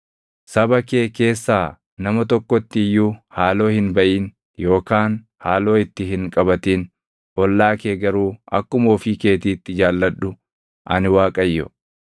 “ ‘Saba kee keessaa nama tokkotti iyyuu haaloo hin baʼin yookaan haaloo itti hin qabatin; ollaa kee garuu akkuma ofii keetiitti jaalladhu. Ani Waaqayyo.